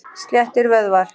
Sléttir vöðvar.